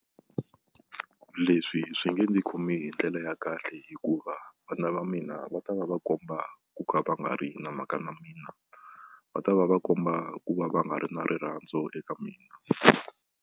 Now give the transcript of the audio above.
Leswi swi nge ni khomi hi ndlela ya kahle hikuva vana va mina va ta va va komba ku ka va nga ri na mhaka na mina va ta va va komba ku va va nga ri na rirhandzu eka mina.